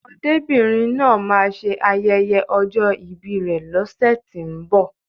Ọmọdébìnrin náà máa ṣe ayẹyẹ ọjọ́ ìbi rè lọ́sẹ̀tínbọ̀.